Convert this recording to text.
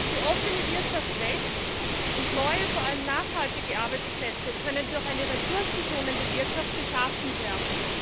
Die offene Wirtschaft wächst, und neue, vor allem nachhaltige Arbeitsplätze können durch eine ressourcenschonende Wirtschaft geschaffen werden.